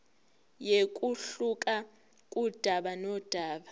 kuyehluka kudaba nodaba